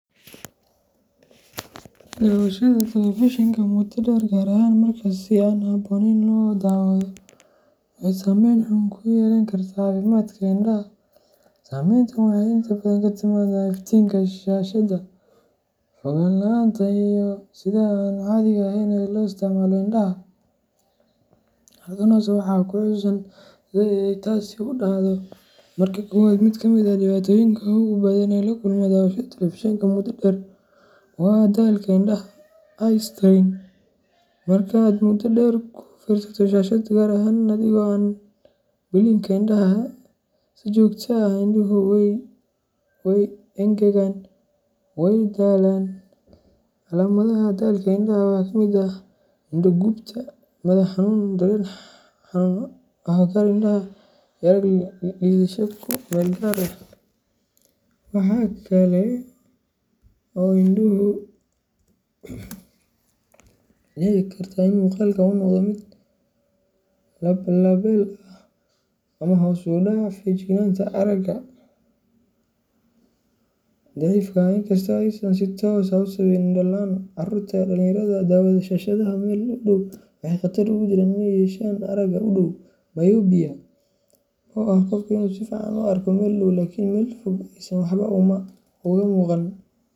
Dhawashada telefishanka muddo dheer, gaar ahaan marka si aan habboonayn loo daawado, waxay saameyn xun ku yeelan kartaa caafimaadka indhaha. Saameyntan waxay inta badan ka timaaddaa iftiinka shaashadda, fogaan la’aanta, iyo sida aan caadiga ahayn ee loo isticmaalo indhaha. Halkan hoose waxaa ku xusan sida ay taasi u dhacdo:Marka koowaad, mid ka mid ah dhibaatooyinka ugu badan ee laga kulmo dhawashada telefishanka muddo dheer waa daalka indhaha eye strain. Marka aad muddo dheer ku fiirsato shaashad, gaar ahaan adigoo aan blinka indhaha si joogto ah, indhuhu way engegaan, wayna daalaan. Calaamadaha daalka indhaha waxaa ka mid ah: indho gubta, madax xanuun, dareen xanuun ah agagaarka indhaha, iyo arag liidasho ku meel gaar ah. Waxa kale oo dhici karta in muuqaalka uu noqdo mid lab labeel ah ama hoos u dhaca feejignaanta aragga. Marka labaad, dhawashada telefishanka oo aad ugu dhow wajiga waxay kordhin kartaa halista aragga daciifka ah, inkasta oo aysan si toos ah u sababin indho la'aan. Carruurta iyo dhalinyarada daawada shaashadda meel aad ugu dhow waxay khatar ugu jiraan in ay yeeshaan aragga u dhow myopia, oo ah marka qofku si fiican wax ugu arko meel dhow laakiin meel fog aysan waxba uga muuqan.